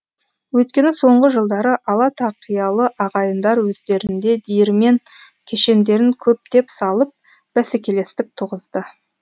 өйткені соңғы жылдары ала тақиялы ағайындар өздерінде диірмен кешендерін көптеп салып бәсекелестік туғызды